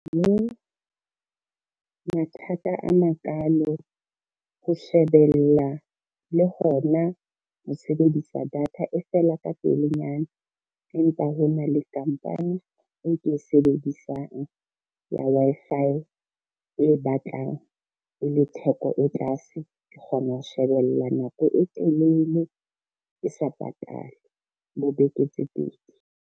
Mathata a makalo ho shebella le hona ho sebedisa data, e fela ka pelenyana empa hona le company o e ke e sebedisang ya Wi-Fi e batlang e le theko e tlase, ke kgona ho shebella nako e telele ke sa patale bo beke tse pedi.